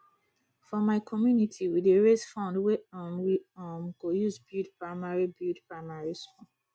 for my community we dey raise fund wey um we um go use build primary build primary school